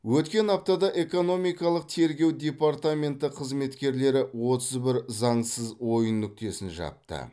өткен аптада экономикалық тергеу департаменті қызметкерлері отыз бір заңсыз ойын нүктесін жапты